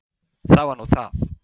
Það var nú það.